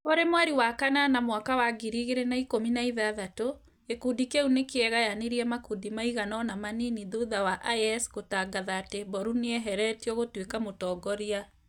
Kũrĩ mweri wa kanana mwaka wa ngiri igĩrĩ na ikũmi na ithathatũ , gikũndi kĩu nĩkĩegayanĩrie makũndĩ maĩganona manini thutha wa IS gũtangatha atĩ Mboru nĩeheretio gũtuĩka mũtongoria